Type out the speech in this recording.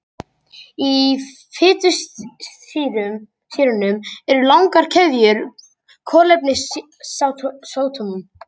Í fitusýrunum eru langar keðjur kolefnisatómum.